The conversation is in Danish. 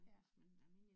Ja